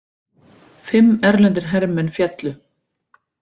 Fimm erlendir hermenn féllu